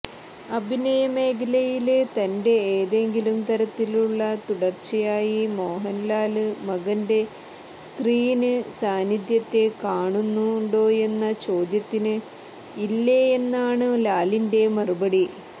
അഭിനയമേഖലയില് തന്റെ ഏതെങ്കിലും തരത്തിലുള്ള തുടര്ച്ചയായി മോഹന്ലാല് മകന്റെ സ്ക്രീന് സാന്നിധ്യത്തെ കാണുന്നുണ്ടോയെന്നചോദ്യത്തിന് ഇല്ലെന്നാണ് ലാലിന്റെ മറുപടി